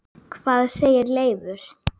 Hvað segir Leifur?